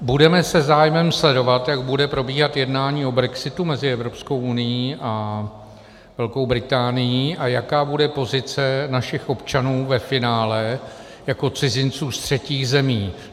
Budeme se zájmem sledovat, jak bude probíhat jednání o brexitu mezi Evropskou unií a Velkou Británií a jaká bude pozice našich občanů ve finále jako cizinců z třetích zemí.